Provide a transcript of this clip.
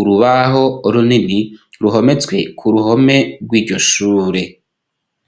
urubaho runini ruhometswe ku ruhome rw'iryoshure.